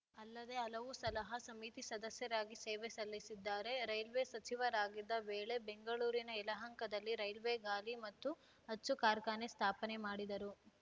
ಅಲ್ಲದೇ ಹಲವು ಸಲಹಾ ಸಮಿತಿ ಸದಸ್ಯರಾಗಿ ಸೇವೆ ಸಲ್ಲಿಸಿದ್ದಾರೆ ರೈಲ್ವೆ ಸಚಿವರಾಗಿದ್ದ ವೇಳೆ ಬೆಂಗಳೂರಿನ ಯಲಹಂಕದಲ್ಲಿ ರೈಲ್ವೆ ಗಾಲಿ ಮತ್ತು ಅಚ್ಚು ಕಾರ್ಖಾನೆ ಸ್ಥಾಪನೆ ಮಾಡಿದರು